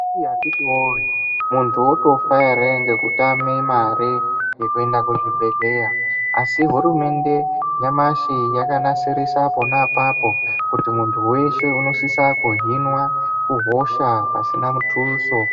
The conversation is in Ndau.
Akiti woyee muntu otofa here nekutame mare yekuenda kuchibhedhlera asi hurumende nyamashi yakanasirisa pona apapo kuti muntu weshe unosisa kuhinwa kuhosha pasina muthuso.